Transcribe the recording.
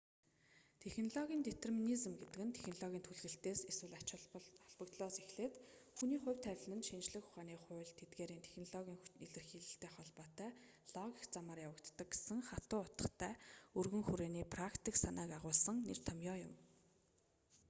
технологийн детерминизм гэдэг нь технологийн түлхэлтээс эсвэл ач холбогдлоос эхлээд хүний ​​хувь тавилан нь шинжлэх ухааны хууль тэдгээрийн технологийн илэрхийлэлтэй холбоотой логик замаар явагддаг гэсэн хатуу утгатай өргөн хүрээний практик санааг агуулдаг нэр томьёо юм